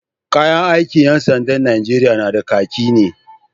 Kayan aikin ƴan sandan Nijeriya na da, kaki ne.